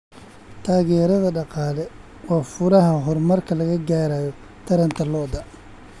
Taageerada dhaqaale waa furaha horumarka laga gaarayo taranta lo'da.